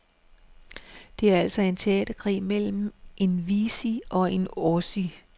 Det er altså en teaterkrig mellem en wessie og en ossie.